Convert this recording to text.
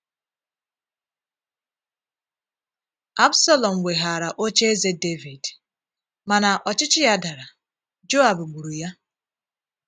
Absalọm weghaara ocheeze Devid, mana ọchịchị ya dara, Joab gburu ya.